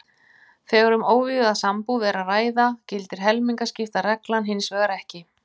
Þegar um óvígða sambúð er að ræða gildir helmingaskiptareglan hins vegar ekki.